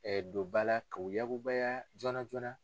don ba la k'o yakubaya joona joonana.